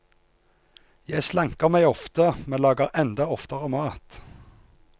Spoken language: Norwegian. Jeg slanker meg ofte, men lager enda oftere mat.